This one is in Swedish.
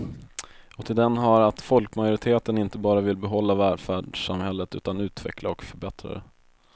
Och till den hör att folkmajoriteten inte bara vill behålla välfärdssamhället utan utveckla och förbättra det.